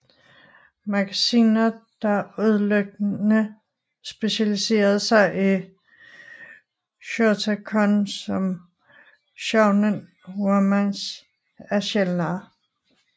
Magasiner der udelukkende specialiserer sig i shotacon som Shounen Romance er sjældnere